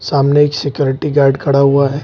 सामने एक security guard खड़ा हुआ है।